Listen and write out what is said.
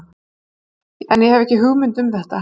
En ég hef ekki hugmynd um þetta.